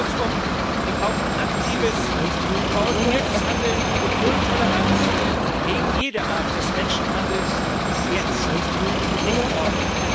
Kurzum Wir brauchen aktives, koordiniertes Handeln und null Toleranz gegen jede Art des Menschenhandels jetzt, nicht morgen.